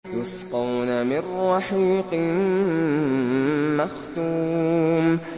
يُسْقَوْنَ مِن رَّحِيقٍ مَّخْتُومٍ